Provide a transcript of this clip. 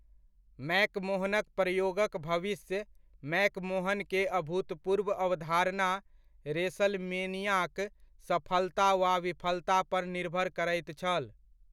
मैकमोहनक प्रयोगक भविष्य, मैकमोहन के अभूतपूर्व अवधारणा, रेसलमेनियाक सफलता वा विफलता पर निर्भर करैत छल।